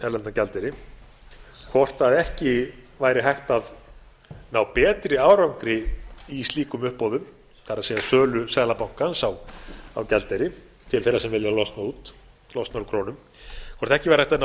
erlendan gjaldeyri hvort ekki væri hægt að ná betri árangri í slíkum uppboðum það er sölu seðlabankans á gjaldeyri til þeirra sem vilja losna út losna frá krónum hvort ekki væri hægt að ná